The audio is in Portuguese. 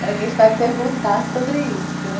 que a gente vai perguntar sobre isso, né?